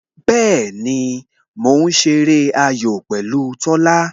Bẹẹni, mo ń ṣeré ayò pẹ̀lú Tola